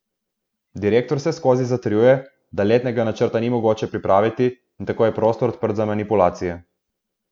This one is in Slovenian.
Direktor vseskozi zatrjuje, da letnega načrta ni mogoče pripraviti, in tako je prostor odprt za manipulacije.